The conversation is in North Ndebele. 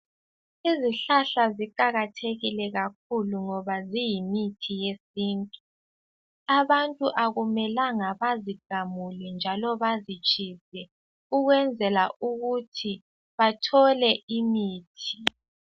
Izihlahla ziqakathekile kakhulu ngoba ziyimithi yesintu abantu akumelanga bazigamule njalo bazitshise ukwenzela ukuthi bathole imithi.